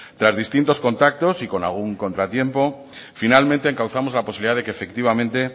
tras distintos contactos y con algún contratiempo finalmente encauzamos la posibilidad de que efectivamente